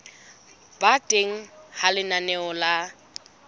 ba teng ha lenaneo la